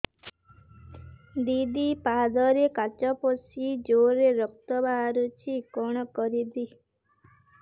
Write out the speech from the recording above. ଦିଦି ପାଦରେ କାଚ ପଶି ଜୋରରେ ରକ୍ତ ବାହାରୁଛି କଣ କରିଵି